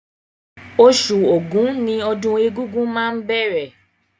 Oṣù Ògún ni ọdún egúngún máa bẹ̀rẹ̀